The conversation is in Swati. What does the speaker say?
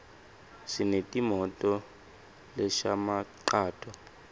sineti moto leshambatqato